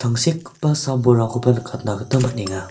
tangsekgipa sam bolrangkoba nikatna gita man·enga.